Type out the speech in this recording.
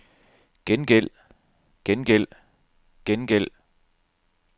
gengæld gengæld gengæld